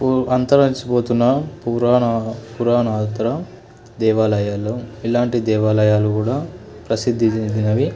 అంతరించి పోతున్నా పురాణ పురాణాతర దేవలయాలు ఇలాంటి దేవాలయాలు కూడా ప్రసిద్ధి చెందినవి.